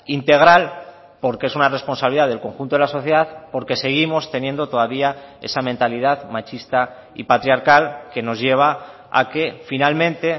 integral porque es una responsabilidad del conjunto de la sociedad porque seguimos teniendo todavía esa mentalidad machista y patriarcal que nos lleva a que finalmente